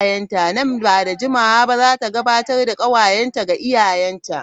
Nan ba da jimawa ba za ta gabatar da kawayenta ga iyayenta.